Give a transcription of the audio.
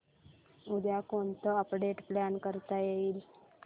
उद्या कोणतं update plan करता येईल